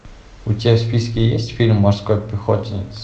у тебя в списке есть фильм морской пехотинец